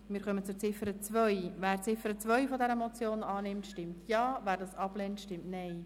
Wer die Ziffer 2 dieser Motion annimmt, stimmt Ja, wer diese ablehnt, stimmt Nein.